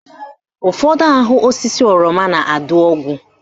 Ụfọdụ ahụ osisi oroma na-adụ ogwu